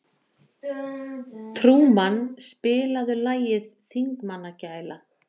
Trúmann, spilaðu lagið „Þingmannagæla“.